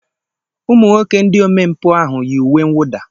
Ụmụ nwoke ndị omempụ ahụ yi uwe mwụda.